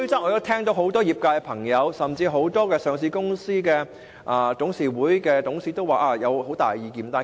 我聽到很多業界人士甚至上市公司的董事都有很大意見。